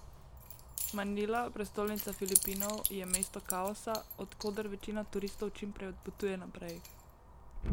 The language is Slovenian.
Manila, prestolnica Filipinov, je mesto kaosa, od koder večina turistov čim prej odpotuje naprej.